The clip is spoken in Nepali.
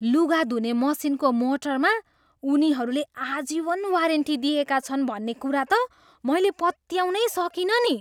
लुगा धुने मसिनको मोटरमा उनीहरूले आजीवन वारेन्टी दिएका छन् भन्ने कुरा त मैले पत्याउनै सकिनँ नि।